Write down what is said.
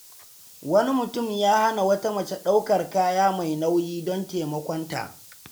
Wani mutum ya hana wata mace daukar kaya mai nauyi don taimakonta.